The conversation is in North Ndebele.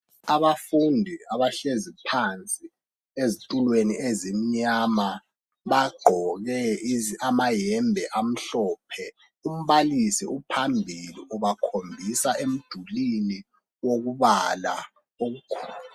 Abafundi abahlezi phansi ezitulweni ezimnyama. Bagqoke amayembe amhlophe . Umbalisi uphambili ubakhombisa emdulini wokubala okukhona.